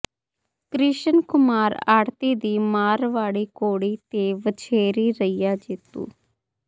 ਕ੍ਰਿਸ਼ਨ ਕੁਮਾਰ ਆੜ੍ਹਤੀ ਦੀ ਮਾਰਵਾੜੀ ਘੋੜੀ ਤੇ ਵਛੇਰੀ ਰਹੀਆਂ ਜੇਤੂ